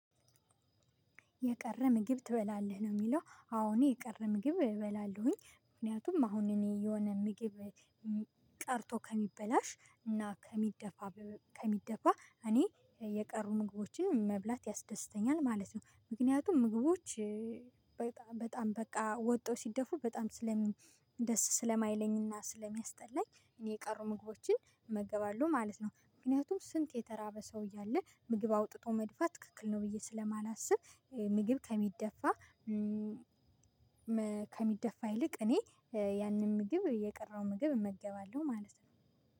የቀረ ምግብ ትበላለህ ነው? የሚለው አዎ የቀረ ምግብ እበላለሁኝ። ምክንያቱም አሁን እኔ የሆነ ምግብ ቀርቶ ከሚበላሽ እና ከሚደፋ ከሚደፋ እኔ የቀሩ ምግቦችን መብላት ያስደስቱኛል ማለት ነው። ምክንያቱም ምግቦች በጣም በቃ ወጥተው ሲደፉ በጣም ስለሚ ደስ ስለማይለኝና ስለሚያስጠላኝ እኔ የቀሩ ምግቦችን እመገባለሁ ማለት ነው። ምክንያቱም ስንት የተራበ ሰው እያለ ምግብ አውጥቶ መድፋት ትክክል ነው ብዬ ስለማላስብ። ምግብ ከሚደፋ ከሚደፋ ይልቅ እኔ ያንን ምግብ የቀረው ምግብ እመገባለሁ ማለት ነው።